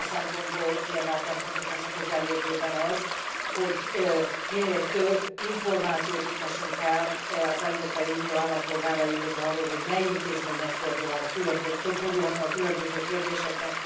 Ebből a szempontból kiemelten fontos lesz a közeljövőben az, hogy minél több információt juttassunk el az Európai Unió állampolgáraihoz arról, hogy mely intézményhez fordulhatnak a különböző kérdésekben.